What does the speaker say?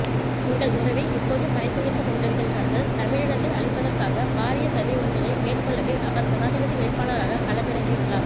எங்கள் உறவுகளை இப்போதும் மறைத்துவைத்துக்கொண்டிருக்கின்றார்கள் தமிழினத்தை அழிப்பதற்காக பாரியசதி ஒன்றினை மேற்கொள்ளவே அவர் ஜனாதிபதி வேட்பாளராக களம் இறங்கியுள்ளார்